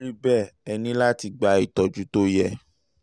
tó bá rí bẹ́ẹ̀ ẹ ní láti gba ìtọ́jú tó yẹ